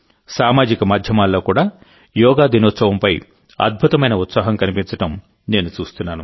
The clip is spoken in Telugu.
సామాజిక మాధ్యమాల్లో కూడా యోగా దినోత్సవంపై అద్భుతమైన ఉత్సాహం కనిపించడం నేను చూస్తున్నాను